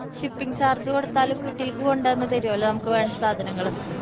shipping charge കൊടുത്താല് വീട്ടില്‍ക്ക്‌ കൊണ്ടുവന്ന് തരുവല്ലോ നമുക്ക് വേണ്ട സാധനങ്ങള്.